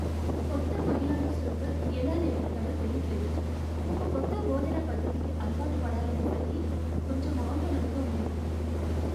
కొత్త మహిళా ఇన్స్ట్రక్టర్ ఎలా నేర్పుతారో తెలీట్లేదు. ఒక కొత్త బోధనా పద్ధతికి అలవాటు పడాలనేసరికి కొంచెం ఆందోళనగా ఉంది.